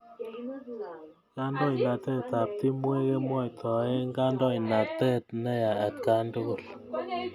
Kandoinatet ap timwek kemwaitae kandoinatet ne ya atkan tukul